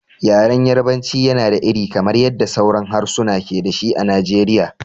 Yaren Yarbanci yana da iri, kamar yadda sauran harsuna ke da shi a Najeriya.